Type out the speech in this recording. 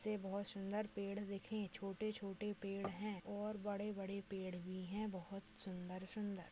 से बहुत सुंदर पेड़ दिखे छोटे-छोटे पेड़ है और बड़े-बड़े पेड़ भी है बहुत सुंदर सुंदर।